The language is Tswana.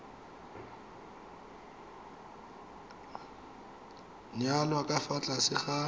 nyalwa ka fa tlase ga